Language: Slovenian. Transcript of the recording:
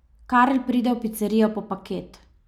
Karl pride v picerijo po paket.